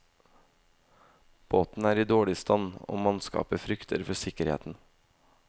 Båten er i dårlig stand, og mannskapet frykter for sikkerheten.